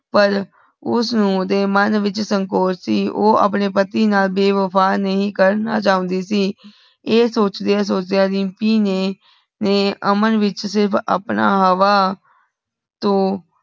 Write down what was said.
ਪਰ ਉਸ ਨੂੰ ਉਦੇ ਮਨ ਵਿਚ ਸੰਕੋਚ ਸੀ ਉ ਅਪਣੇ ਪਤੀ ਨਾਲ ਬੇਵਫਾ ਨਹੀਂ ਕਰਨਾ ਚਾਹੁੰਧੀ ਸੀ। ਐ ਸੋਚਦਿਆਂ ਸੋਚਦਿਆਂ ਰੀਮਪੀ ਨੇ ਨੇ ਅਮਨ ਵਿਚ ਸਿਰਫ ਅਪਣਾ ਹਵਾ ਤੋਂ